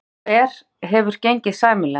Viggó: Og er, hefur gengið sæmilega?